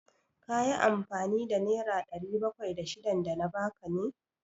Ka yi amfani da nera ɗari bakwai da shidan da na ba ka ne?